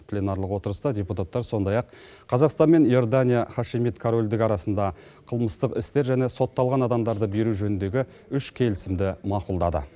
пленарлық отырыста депутаттар сондай ақ қазақстан мен иордания хашимит корольдігі арасында қылмыстық істер және сотталған адамдарды беру жөніндегі үш келісімді мақұлдады